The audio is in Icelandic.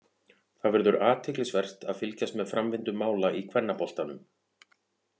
Það verður athyglisvert að fylgjast með framvindu mála í kvennaboltanum.